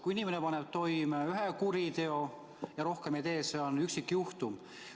Kui inimene paneb toime ühe kuriteo ja rohkem ei tee, siis see on üksikjuhtum.